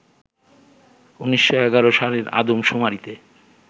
১৯১১ সালের আদমশুমারিতে